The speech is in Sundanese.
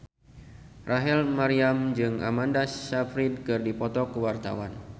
Rachel Maryam jeung Amanda Sayfried keur dipoto ku wartawan